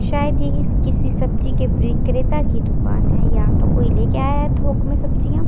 शायद ये की किसी सब्जी के विक्रेता की दुकान है या तो कोई लेके आया है थोक में सब्जियां।